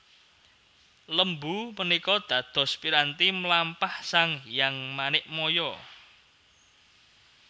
Lembu menikå dados piranti mlampah Sang Hyang Manikmaya